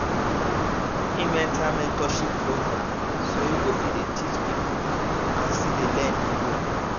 im enter mentorship program so im go fit dey teach people and still dey learn dey go